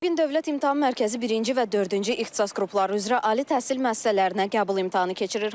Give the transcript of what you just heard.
Bu gün Dövlət İmtahan Mərkəzi birinci və dördüncü ixtisas qrupları üzrə ali təhsil müəssisələrinə qəbul imtahanı keçirir.